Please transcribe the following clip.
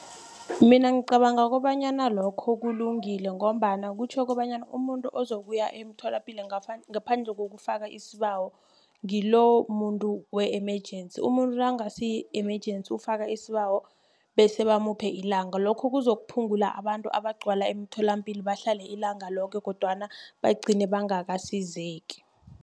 Mina ngicabanga kobanyana lokho kulungile ngombana kutjho kobanyana umuntu ozokuya emtholapilo ngaphandle kokufaka isibawo ngilomuntu we-emergency. Umuntu nangasi yi-emergency ufaka isibawo bese bamuphe ilanga lokho kuzokuphungula abantu abagcwala emtholampilo bahlale ilanga loke kodwana bagcine bangakasizeki.